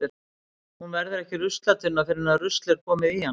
Hún verður ekki ruslatunna fyrr en rusl er komið í hana.